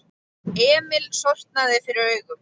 Emil sortnaði fyrir augum.